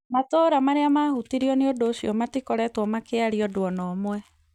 Matura marĩa mahutirio nĩ ũndũ ũcio itikoretwo ikĩaria ũndũ ona ũmwe